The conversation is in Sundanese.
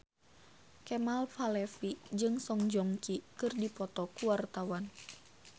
Kemal Palevi jeung Song Joong Ki keur dipoto ku wartawan